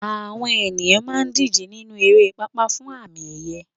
Àwọn ènìyàn máa ń díje nínú eré pápá fún àmì ẹ̀yẹ